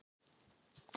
Já, ég sé það!